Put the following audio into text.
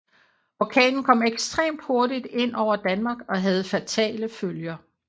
Orkanen kom ekstremt hurtigt ind over Danmark og havde fatale følger